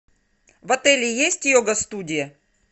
в отеле есть йога студия